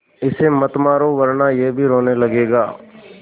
इसे मत मारो वरना यह भी रोने लगेगा